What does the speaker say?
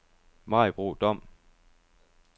Maribo Dom